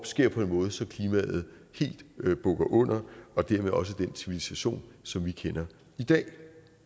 sker på en måde så klimaet helt bukker under og dermed også den civilisation som vi kender i dag